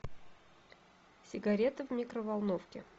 сигареты в микроволновке